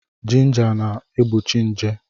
Jinja na-egbochi nje.